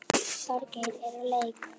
Þorgeir er úr leik.